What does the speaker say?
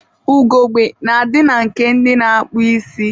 Ugogbe na-adị na nke ndị na-akpụ isi.